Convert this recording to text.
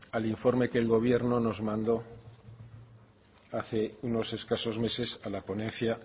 al informe que el gobierno nos mandó hace unos escasos meses a la ponencia